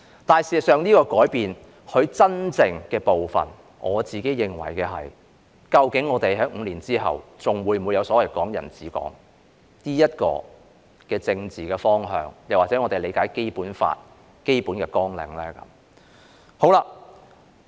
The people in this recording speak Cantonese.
事實上，我認為這個改變真正的部分，是究竟在5年後，我們是否仍然有所謂"港人治港"的政治方向，又或是我們理解的《基本法》的基本綱領呢？